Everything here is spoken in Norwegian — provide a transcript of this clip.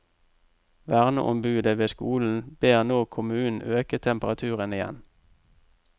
Verneombudet ved skolen ber nå kommunen øke temperaturen igjen.